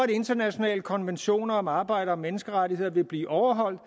de internationale konventioner om arbejder og menneskerettigheder vil blive overholdt